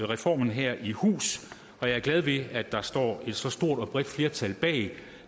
reformen her i hus og jeg er glad ved at der står et så stort og bredt flertal bag